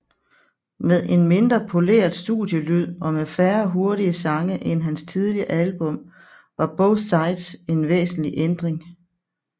Med en mindre poleret studielyd og med færre hurtige sange end hans tidligere album var Both Sides en væsentlig ændring